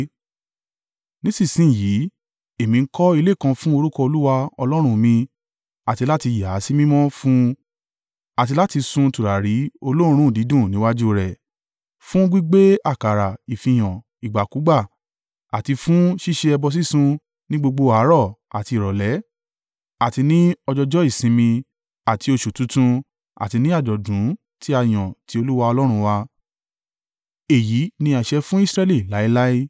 Nísinsin yìí, èmi n kọ́ ilé kan fún orúkọ Olúwa Ọlọ́run mi àti láti yà á sí mímọ́ fún un àti láti sun tùràrí olóòórùn dídùn níwájú rẹ̀, fún gbígbé àkàrà ìfihàn ìgbàkúgbà, àti fún ṣíṣe ẹbọ sísun ní gbogbo àárọ̀ àti ìrọ̀lẹ́ àti ní ọjọọjọ́ ìsinmi àti oṣù tuntun àti ní àjọ̀dún tí a yàn ti Olúwa Ọlọ́run wa. Èyí ni àṣẹ fún Israẹli láéláé.